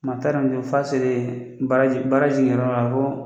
Maa t'a dɔn f'a selen baara ji baara ji yɔrɔ la